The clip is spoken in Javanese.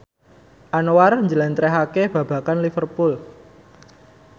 Anwar njlentrehake babagan Liverpool